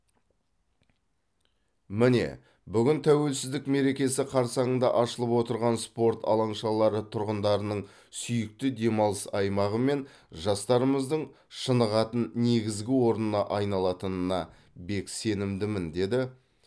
міне бүгін тәуелсіздік мерекесі қарсаңында ашылып отырған спорт алаңшалары тұрғындарының сүйікті демалыс аймағы мен жастарымыздың шынығатын негізгі орнына айналатынына бек сенімдімін деді